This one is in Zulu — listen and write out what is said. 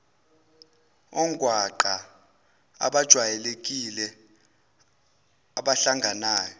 ongwaqa abajwayelekile abahlanganayo